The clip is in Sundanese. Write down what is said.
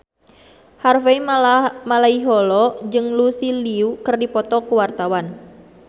Harvey Malaiholo jeung Lucy Liu keur dipoto ku wartawan